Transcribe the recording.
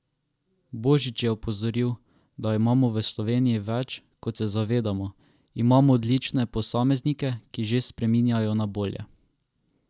Božič je opozoril, da imamo v Sloveniji več, kot se zavedamo: 'Imamo odlične posameznike, ki že spreminjajo na bolje.